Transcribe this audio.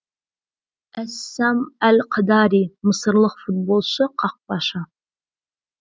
эссам әл хадари мысырлық футболшы қақпашы